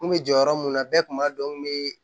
N kun bɛ jɔyɔrɔ mun na bɛɛ kun b'a dɔn n bɛ